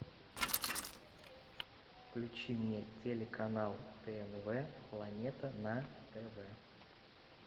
включи мне телеканал тнв планета на тв